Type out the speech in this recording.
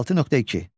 36.2.